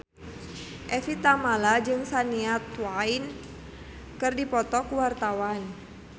Evie Tamala jeung Shania Twain keur dipoto ku wartawan